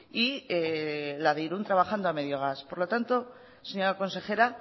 y la de irún trabajando a medio gas por lo tanto señora consejera